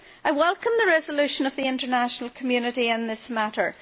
I welcome the resolution of the international community in this matter.